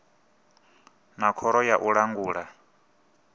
na khoro ya u langula